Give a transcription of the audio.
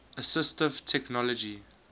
assistive technology